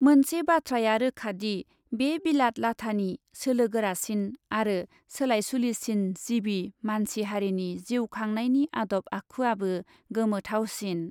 मोनसे बाथ्राया रोखादि, बे बिलात लाथानि सोलो गोरासिन आरो सोलायसुलिसिन जिबि मानसि हारिनि जिउ खांनायनि आदब आखुयाबो गोमोथावसिन ।